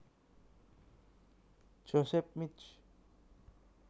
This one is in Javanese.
Joseph Mich